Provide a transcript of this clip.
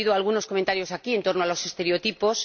He oído algunos comentarios aquí en torno a los estereotipos.